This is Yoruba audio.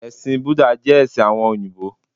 Ẹ̀sìn Búdà jẹ́ ẹ̀sìn àwọn òyìbó